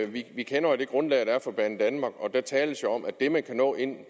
vi kender jo det grundlag der er for banedanmark og der tales jo om at det man kan nå inden